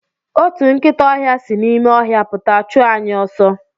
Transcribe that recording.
Otu nkịta ọhịa si n'ime ọhịa pụta chụọ anyị ọsọ.